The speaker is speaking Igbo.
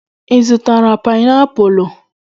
Ị zụtara painiapulu?